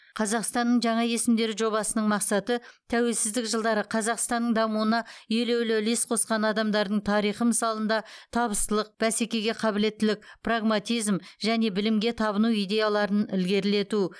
қазақстанның жаңа есімдері жобасының мақсаты тәуелсіздік жылдары қазақстанның дамуына елеулі үлес қосқан адамдардың тарихы мысалында табыстылық бәсекеге қабілеттілік прагматизм және білімге табыну идеяларын ілгерілету